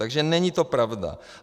Takže není to pravda.